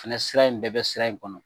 Fɛnɛ sifa in bɛɛ bɛ sira in kɔnɔ.